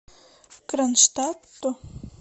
кронштадту